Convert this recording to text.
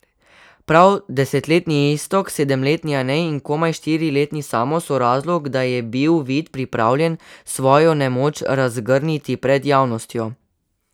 Prav desetletni Iztok, sedemletni Anej in komaj štiriletni Samo so razlog, da je bil Vid pripravljen svojo nemoč razgrniti pred javnostjo.